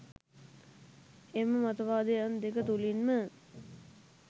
එම මතවාදයන් දෙක තුළින්ම